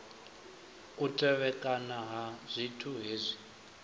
u tevhekana ha zwithu hezwi